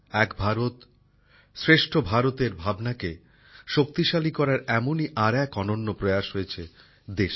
এক ভারত শ্রেষ্ঠ ভারতের ভাবনাকে শক্তিশালী করার এমনই আর এক অনন্য প্রয়াস গ্রহণ করা হয়েছে দেশে